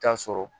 Taa sɔrɔ